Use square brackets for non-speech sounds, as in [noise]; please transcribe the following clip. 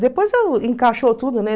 Depois [unintelligible] encaixou tudo [unintelligible]